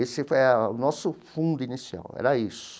Esse era o nosso fundo inicial, era isso.